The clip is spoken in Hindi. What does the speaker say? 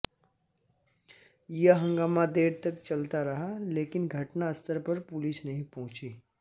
यह हंगामा देर तक चलता रहा लेकिन घटना स्थल पर पुलिस नही पहुंची